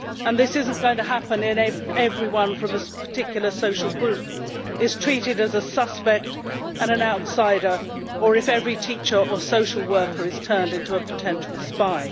This is not going to happen when everyone from a particular social group is treated as a suspect and an outsider, or if every teacher and social worker is turned into a potential spy.